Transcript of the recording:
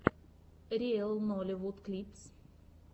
риэл нолливуд клипс